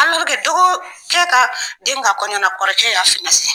dɔgɔkɛ ka den ka kɔnɲɔna na kɔrɔ y'a !